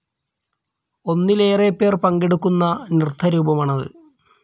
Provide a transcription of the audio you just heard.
ഒന്നിലേറെ പേർ പങ്കെടുക്കുന്ന നൃത്തരൂപമാണത്.